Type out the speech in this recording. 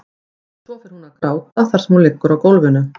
Svo fer hún að gráta þar sem hún liggur á gólfinu.